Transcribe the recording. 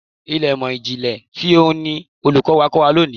Ilé ìmò ìjìnlẹ̀ ti ohùn ni Olùkọ́ni kó wa lọ lónìí.